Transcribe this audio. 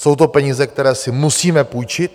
Jsou to peníze, které si musíme půjčit.